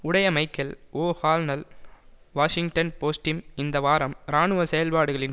உடைய மைக்கேல் ஓ ஹால்னல் வாஷிங்டன் போஸ்ட்டிம் இந்த வாரம் இராணுவ செயற்பாடுகளின்